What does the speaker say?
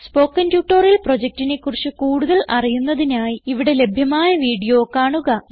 spoken tutorial പ്രൊജക്റ്റിനെ കുറിച്ച് കൂടുതൽ അറിയുന്നതിനായി ഇവിടെ ലഭ്യമായ വീഡിയോ കാണുക